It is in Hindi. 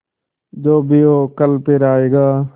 जो भी हो कल फिर आएगा